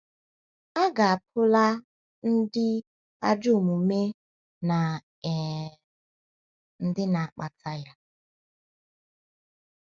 A ga-apụla ndị ajọ omume na um ndị na-akpata ya.